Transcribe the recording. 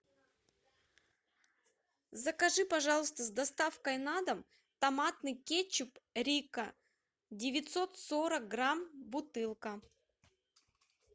закажи пожалуйста с доставкой на дом томатный кетчуп рикко девятьсот сорок грамм бутылка